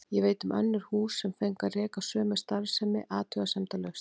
Ég veit um önnur hús sem fengu að reka sömu starfsemi athugasemdalaust.